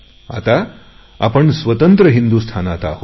आता आपण स्वतंत्र हिंदुस्थानात आहोत